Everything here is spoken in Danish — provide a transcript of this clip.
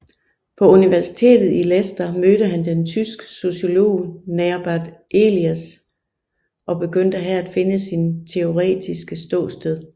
På universitetet i Leicester mødte han den tyske sociolog Norbert Elias og begyndte her at finde sit teoretiske ståsted